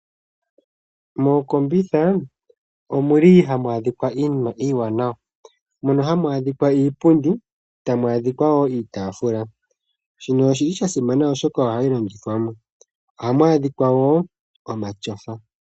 Mookombitha omuli hamu adhika iinima iiwanawa mono hamu adhika iipundi niitafula, shino oshasimana molwashoka ohayi longithwa. Ohamu adhika woo matyofa.